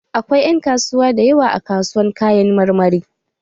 Akwai ƴan kasuwa da yawa a kasuwar Kayan marmari